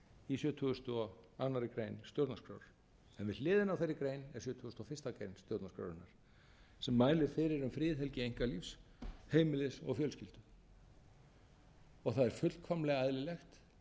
í sjötugasta og aðra grein stjórnarskrár en við hliðina á þeirri grein er sjötugasta og fyrstu grein stjórnarskrárinnar sem mælir fyrir um friðhelgi einkalífs heimilis og fjölskyldu það er fullkomlega eðlilegt